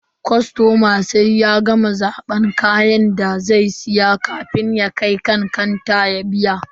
Kostoma sai ya gama zaban kayan da zai siya kafin ya kai kanta ya biya.